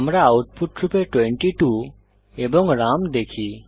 আমরা আউটপুট রূপে 22 এবং রাম দেখি